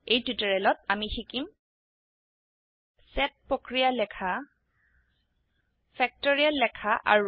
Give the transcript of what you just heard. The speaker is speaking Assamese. এই টিউটোৰিয়েলত আমি শিকিম সেট প্ৰক্ৰিয়া লেখা ফেক্টৰিয়েল লেখা আৰু